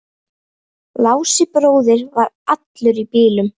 Lási bróðir var allur í bílum.